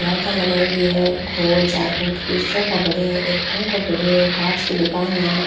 लाइटा लगायोडी है गोल चार कुंट की सोफा पड़ी है एक पंखो पड़यो है कांच की दुकान है आ।